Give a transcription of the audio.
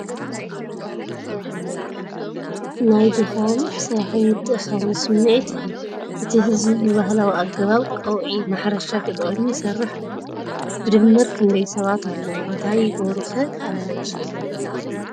ናይ ድኻም፣ ስራሕን ምትእኽኻብን ስምዒት ይህብ፤ እቲ ህዝቢ ብባህላዊ ኣገባብ ቀውዒ (ማሕረሻ ተጠቒሙ) ይሰርሕ ኣሎ። ብድምር ክንደይ ሰባት ኣለዉ እንታይ ይገብሩ ኸ ኣለዉ?